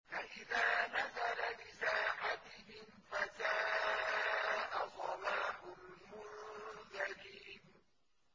فَإِذَا نَزَلَ بِسَاحَتِهِمْ فَسَاءَ صَبَاحُ الْمُنذَرِينَ